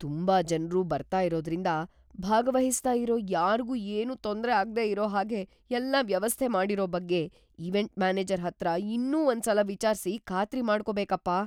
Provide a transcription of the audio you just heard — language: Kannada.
ತುಂಬಾ ಜನ್ರು ಬರ್ತಾ ಇರೋದ್ರಿಂದ, ಭಾಗವಹಿಸ್ತಾ ಇರೋ ಯಾರ್ಗೂ ಏನೂ ತೊಂದ್ರೆ ಆಗ್ದೇ ಇರೋ ಹಾಗೆ ಎಲ್ಲ ವ್ಯವಸ್ಥೆ ಮಾಡಿರೋ ಬಗ್ಗೆ ಇವೆಂಟ್‌ ಮ್ಯಾನೇಜರ್‌ ಹತ್ರ ಇನ್ನೂ ಒಂದ್ಸಲ ವಿಚಾರ್ಸಿ ಖಾತ್ರಿ ಮಾಡ್ಕೊಬೇಕಪ್ಪ.